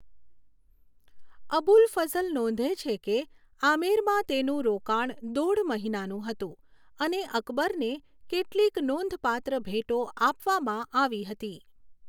અબુલ ફઝ્લ નોંધે છે કે આમેરમાં તેનું રોકાણ દોઢ મહિનાનું હતું અને અકબરને કેટલીક નોંધપાત્ર ભેટો આપવામાં આવી હતી.